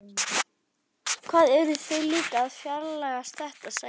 Hvað eru þau líka að flækjast þetta? sagði afi.